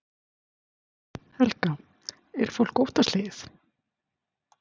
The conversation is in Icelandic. Helga: Er fólk óttaslegið?